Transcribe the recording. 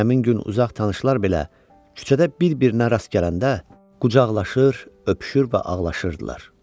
Həmin gün uzaq tanışlar belə küçədə bir-birinə rast gələndə qucaqlaşır, öpüşür və ağlaşırdılar.